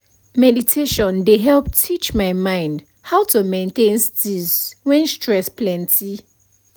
meditation dey help teach my mind how to maintain steeze when stress plenty